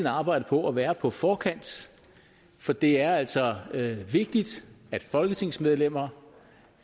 arbejde på at være på forkant for det er altså vigtigt at folketingsmedlemmer